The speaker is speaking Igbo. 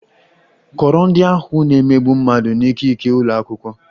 Kọọrọ ndị ahụ na - emegbu mmadụ n'ikike ụlọ akwụkwọ!